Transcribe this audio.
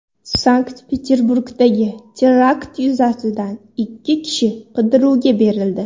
Sankt-Peterburgdagi terakt yuzasidan ikki kishi qidiruvga berildi.